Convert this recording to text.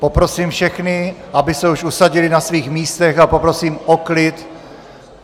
Poprosím všechny, aby se už usadili na svých místech, a poprosím o klid.